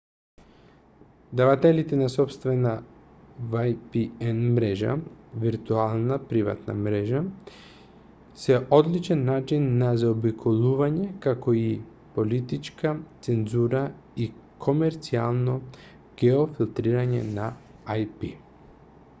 давателите на сопствена vpn-мрежа виртуелна приватна мрежа се одличен начин на заобиколување како и политичка цензура и комерцијално геофилтрирање на ip